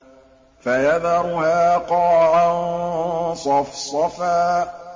فَيَذَرُهَا قَاعًا صَفْصَفًا